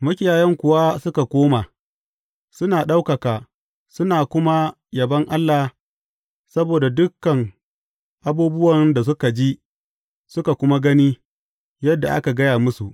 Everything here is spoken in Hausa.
Makiyayan kuwa suka koma, suna ɗaukaka suna kuma yabon Allah saboda dukan abubuwan da suka ji, suka kuma gani, yadda aka gaya musu.